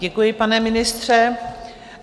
Děkuji, pane ministře.